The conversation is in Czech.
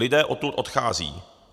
Lidé odtud odcházejí.